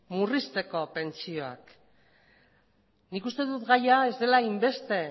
murrizteko pentsioak nik uste dut gaia ez dela hainbeste